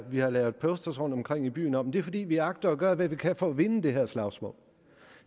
vi har lavet posters rundtomkring i byen om det er fordi vi agter at gøre hvad vi kan for at vinde det her slagsmål